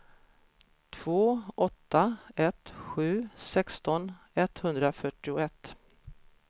två åtta ett sju sexton etthundrafyrtioett